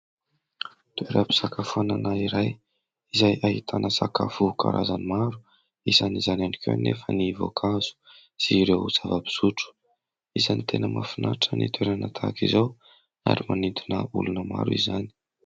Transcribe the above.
Toeram-pisakafoanana iray izay ahitana sakafo karazany maro, isany izany ihany koa nefa ny voankazo sy ireo zava-pisotro. Isany tena mahafinaritra ny toerana tahaka izao ary manintona olona maro izany.